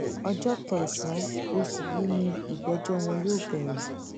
ọjọ kẹsànán oṣù yìí nìgbẹjọ wọn yóò bẹrẹ